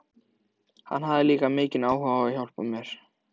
Hann hafði líka mikinn áhuga á að hjálpa mér.